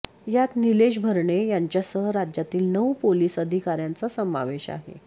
यात नीलेश भरणे यांच्यासह राज्यातील नऊ पोलीस अधिकाऱ्यांचा समावेश आहे